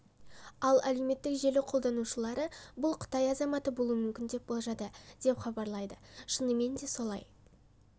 ал әлеуметттік желі қолданушылары бұл қытай азаматы болуы мүмкін деп болжады деп хабарлайды шынымен де солай